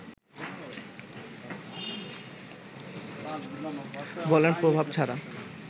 বলের প্রভাব ছাড়া